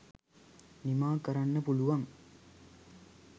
නිමා කරන්න පුළුවන්.